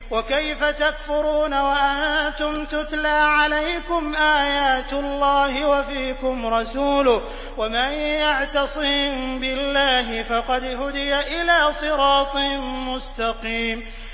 وَكَيْفَ تَكْفُرُونَ وَأَنتُمْ تُتْلَىٰ عَلَيْكُمْ آيَاتُ اللَّهِ وَفِيكُمْ رَسُولُهُ ۗ وَمَن يَعْتَصِم بِاللَّهِ فَقَدْ هُدِيَ إِلَىٰ صِرَاطٍ مُّسْتَقِيمٍ